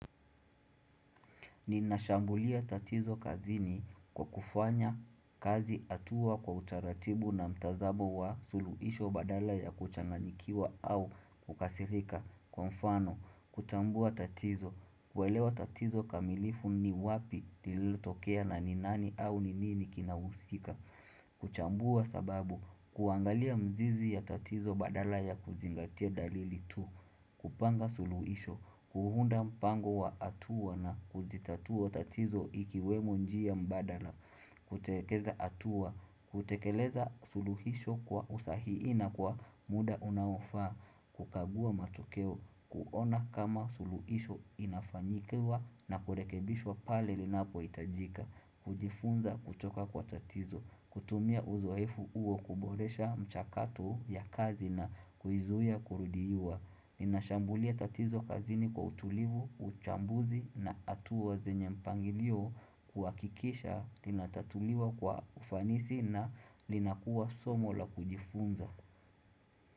Ninashambulia tatizo kazi ni kwa kufanya kazi atua kwa utaratibu na mtazamo wa suluisho badala ya kuchanganikiwa au kukasirika kwa mfano kuchambua tatizo, kuelewa tatizo kamilifu ni wapi lililo tokea na ninani au ninini kina usika kuchambua sababu, kuangalia mzizi ya tatizo badala ya kuzingatia dalili tu kupanga suluhisho, kuhunda mpango wa atua na kuzitatua tatizo ikiwemo njia mbadala Kutekeza atua, kutekeleza suluhisho kwa usahii na kwa muda unaofaa kukagua matokeo, kuona kama suluhisho inafanyikiwa na kurekebishwa pale linapo itajika kujifunza kutoka kwa tatizo, kutumia uzoefu uo kuboresha mchakatu ya kazi na kuizuya kurudiyua Ninashambulia tatizo kazini kwa utulivu, uchambuzi na atua zenye mpangilio kuakikisha linatatuliwa kwa ufanisi na linakuwa somo la kujifunza.